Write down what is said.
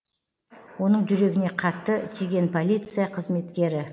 оның жүрегіне қатты тигенполиция қызметкері